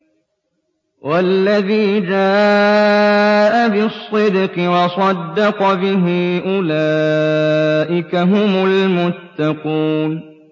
وَالَّذِي جَاءَ بِالصِّدْقِ وَصَدَّقَ بِهِ ۙ أُولَٰئِكَ هُمُ الْمُتَّقُونَ